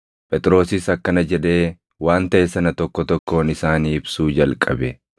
Phexrosis akkana jedhee waan taʼe sana tokko tokkoon isaanii ibsuu jalqabe.